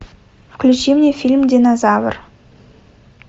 включи мне фильм динозавр